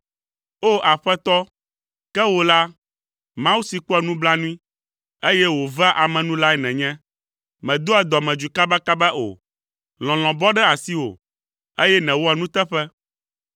O! Aƒetɔ, ke wò la, Mawu si kpɔa nublanui, eye wòvea ame nu lae nènye, mèdoa dɔmedzoe kabakaba o, lɔlɔ̃ bɔ ɖe asiwò, eye nèwɔa nuteƒe.